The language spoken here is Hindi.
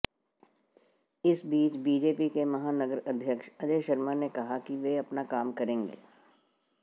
इस बीच बीजेपी के महानगर अध्यक्ष अजय शर्मा ने कहा कि वे अपना काम करेंगे